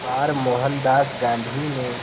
बार मोहनदास गांधी ने